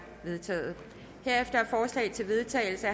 vedtaget herefter er forslag til vedtagelse